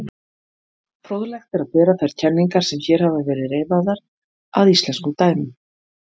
Fróðlegt er að bera þær kenningar sem hér hafa verið reifaðar að íslenskum dæmum.